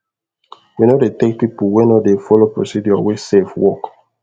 we no dey take people wey no dey follow procedure wey safe work